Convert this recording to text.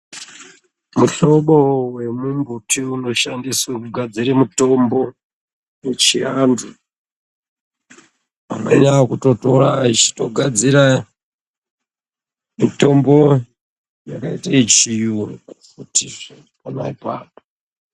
Muhlobo vemumbuti unoshandiswe kugadzire mutombo yechiantu. Amweni akutotora achito gadzira mitombo yakaite yechiyungu.